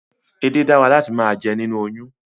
Edé dára láti máa jẹ nínú oyún